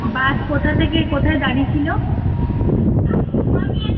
বাস কোথা থেকে কোথায় দাঁড়িয়ে ছিল